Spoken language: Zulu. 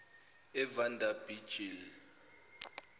evanderbijl